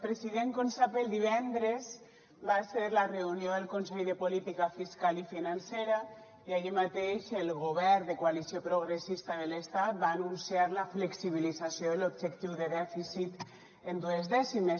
president com sap el divendres va ser la reunió del consell de política fiscal i financera i ahir mateix el govern de coalició progressista de l’estat va anunciar la flexibilització de l’objectiu de dèficit en dues dècimes